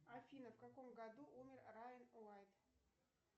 афина в каком году умер райан уайт